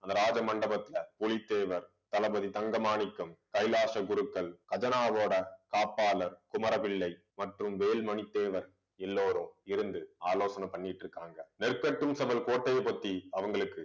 அந்த ராஜ மண்டபத்துல பூலித்தேவர் தளபதி தங்க மாணிக்கம் கைலாச குருக்கள் கஜனாவோட காப்பாளர் குமர பிள்ளை மற்றும் வேல்மணி தேவர் எல்லாரும் இருந்து ஆலோசனை பண்ணிட்டு இருக்காங்க. நெற்கட்டும் கோட்டையை பத்தி அவங்களுக்கு